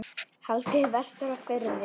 Haldið vestur á Firði